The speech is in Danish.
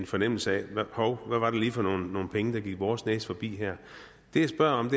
fornemmelsen hov hvad var det lige for nogle penge der gik vores næse forbi her det jeg spørger om